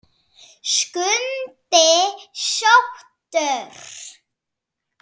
Skundi sóttur